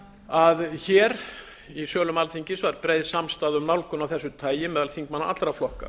að hér í sölum alþingis var breið samstaða um nálgun af þessu tagi meðal þingmanna allra flokka